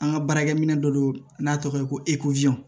An ka baarakɛminɛ dɔ don n'a tɔgɔ ye ko